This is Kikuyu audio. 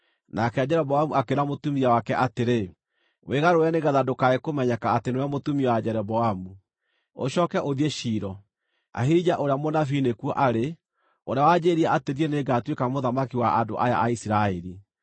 nake Jeroboamu akĩĩra mũtumia wake atĩrĩ, “Wĩgarũre nĩgeetha ndũkae kũmenyeka atĩ nĩwe mũtumia wa Jeroboamu. Ũcooke ũthiĩ Shilo. Ahija ũrĩa mũnabii nĩkuo arĩ, ũrĩa wanjĩĩrire atĩ niĩ nĩngatuĩka mũthamaki wa andũ aya a Isiraeli.